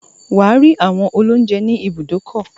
Wà á rí àwọn olóúńjẹ ní ibùdókọ̀.